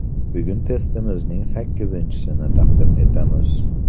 Bugun testimizning sakkizinchisini taqdim etamiz.